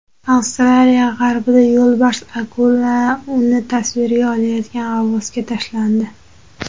Avstraliya g‘arbida yo‘lbars akula uni tasvirga olayotgan g‘avvosga tashlandi.